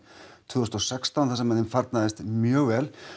tvö þúsund og sextán þar sem þeim farnaðist mjög vel